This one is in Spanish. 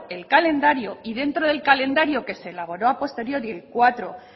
el calendario y dentro del calendario que se elaboró a posteriori el cuatro